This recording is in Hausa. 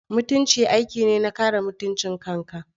Mutunci aiki ne na kare mutuncin kanka.